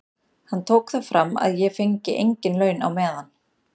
Hann tók það fram að ég fengi engin laun á meðan.